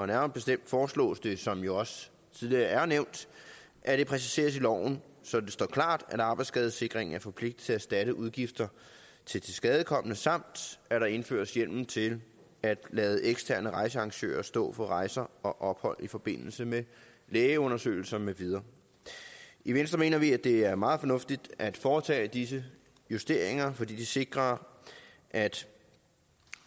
nærmere bestemt foreslås det som det jo også tidligere er nævnt at det præciseres i loven så det står klart at arbejdsskadesikringen er forpligtet erstatte udgifter til tilskadekomne samt at der indføres hjemmel til at lade eksterne rejsearrangører stå for rejser og ophold i forbindelse med lægeundersøgelser med videre i venstre mener vi at det er meget fornuftigt at foretage disse justeringer fordi de sikrer at